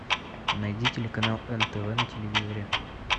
найди телеканал нтв на телевизоре